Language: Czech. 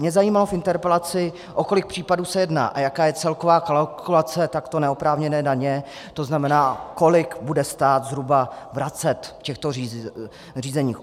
Mě zajímalo v interpelaci, o kolik případů se jedná a jaká je celková kalkulace takto neoprávněné daně, to znamená, kolik bude stát zhruba vracet v těchto řízeních.